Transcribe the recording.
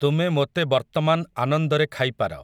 ତୁମେ ମୋତେ ବର୍ତ୍ତମାନ୍ ଆନନ୍ଦରେ ଖାଇପାର ।